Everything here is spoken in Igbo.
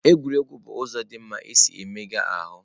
Egwuregwu bụ ụzọ dị mma isi na-emega ahụ.